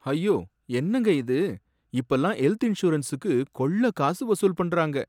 ஐயோ! என்னங்க இது? இப்பலாம் ஹெல்த் இன்ஷுரன்ஸுக்கு கொள்ள காசு வசூல் பண்றாங்க!